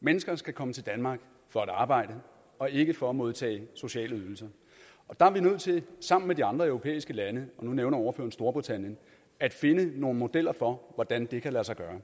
mennesker skal komme til danmark for at arbejde og ikke for at modtage sociale ydelser der er vi nødt til sammen med de andre europæiske lande og nu nævner ordføreren storbritannien at finde nogle modeller for hvordan det kan lade sig gøre